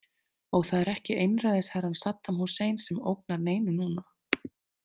Og það er ekki einræðisherrann Saddam Hussein sem ógnar neinum núna.